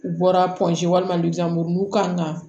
U bɔra panzɔn walima kan ka